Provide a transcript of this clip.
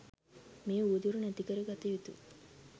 මේ උවදුර නැති කර ගත යුතුයි.